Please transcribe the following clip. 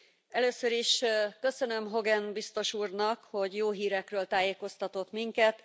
Először is köszönöm Hogan biztos úrnak, hogy jó hírekről tájékoztatott minket.